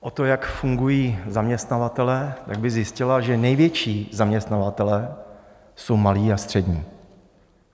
o to, jak fungují zaměstnavatelé, tak by zjistila, že největší zaměstnavatelé jsou malí a střední.